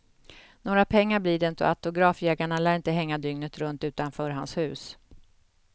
Några pengar blir det inte och autografjägarna lär inte hänga dygnet runt utanför hans hus.